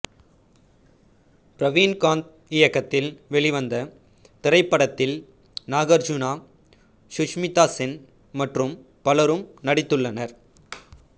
பிரவீன்காந்த் இயக்கத்தில் வெளிவந்த இத்திரைப்படத்தில் நாகர்ஜுனாசுஷ்மிதா சென் மற்றும் பலரும் நடித்துள்ளனர்